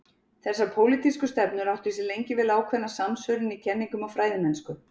þessar pólitísku stefnur áttu sér lengi vel ákveðna samsvörun í kenningum og fræðimennsku